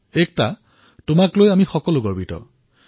একতা আমি সকলোৱে আপোনাক লৈ গৌৰৱ কৰিছোঁ